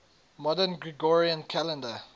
modern gregorian calendar